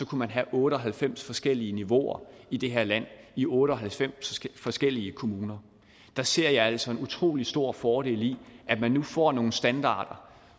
kunne have otte og halvfems forskellige niveauer i det her land i otte og halvfems forskellige kommuner der ser jeg altså en utrolig stor fordel i at man nu får nogle standarder